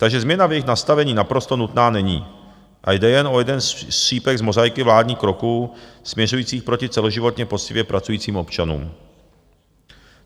Takže změna v jejich nastavení naprosto nutná není a jde jen o jeden střípek z mozaiky vládních kroků, směřujících proti celoživotně poctivě pracujícím občanům.